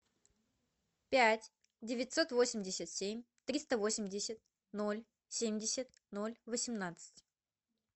пять девятьсот восемьдесят семь триста восемьдесят ноль семьдесят ноль восемнадцать